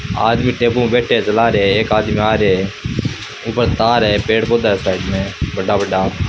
आदमी टेम्पू मे बैठा है चला रहे है एक आदमी आ रहे है ऊपर तार है पेड़ पोधा साइड में बड़ा बड़ा।